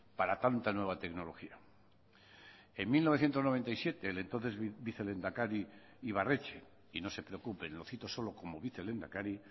para tanta nueva tecnología en mil novecientos noventa y siete el entonces vicelehendakari ibarretxe y no se preocupen lo cito solo como vicelehendakari